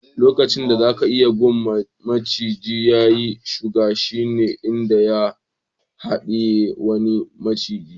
Lokacin da zaka iya gan maciji ya yi shuru shine idan ya hadiye wani maciji.